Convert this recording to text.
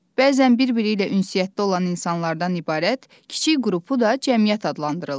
Bəzən bir-biri ilə ünsiyyətdə olan insanlardan ibarət kiçik qrupu da cəmiyyət adlandırırlar.